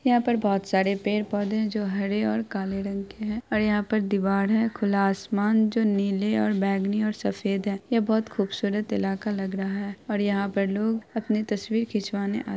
यहाँ पर बहुत सारे पेड़-पौधे है जो हरे और काले रंग के है और यहाँ पे दीवार है और खुला आसमान है जो नीले और बैंगनी और सफेद है यह बहुत खुबसूरत इलाका लग रहा है और यहाँ पे लोग अपनी तस्वीर खिचवाने आ --